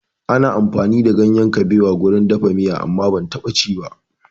Ana amfani da ganyen kaɓewa wurin dafa miya amma ban taɓa ci ba